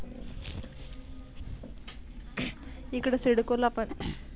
इकड सिडको ला पन.